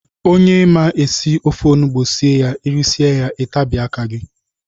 Onye ma esị ofe ọnụgbu sie ya irisie ya itabie aka gị.